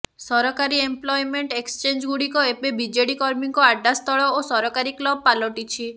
ସରକାରୀ ଏମ୍ପ୍ଲୟମେଣ୍ଟ ଏକ୍ସଚେଞ୍ଜଗୁଡ଼ିକ ଏବେ ବିଜେଡି କର୍ମୀଙ୍କ ଆଡ୍ଡାସ୍ଥଳ ଓ ସରକାରୀ କ୍ଲବ ପାଲଟିଛି